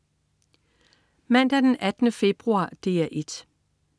Mandag den 18. februar - DR 1: